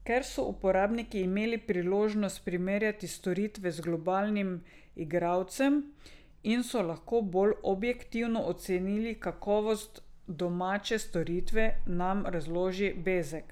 Ker so uporabniki imeli priložnost primerjati storitve z globalnim igralcem in so lahko bolj objektivno ocenili kakovost domače storitve, nam razloži Bezek.